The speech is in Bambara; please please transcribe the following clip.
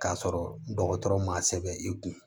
K'a sɔrɔ dɔgɔtɔrɔ ma sɛbɛn i kun